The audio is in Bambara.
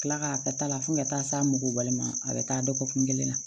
Kila k'a ta la fo ka taa s'a mɔggɔ balima a bɛ taa dɔgɔkun kelen na